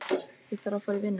Ég þarf að fara í vinnuna.